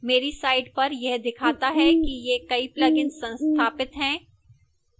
मेरी site पर यह दिखाता है कि ये कई plugins संस्थापित हैं